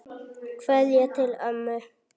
Kveðja til ömmu.